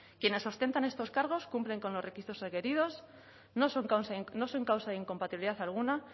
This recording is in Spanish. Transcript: quienes ostentan estos cargos cumplen con los requisitos requeridos no son causa de incompatibilidad alguna